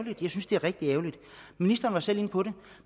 synes det er rigtig ærgerligt ministeren var selv inde på det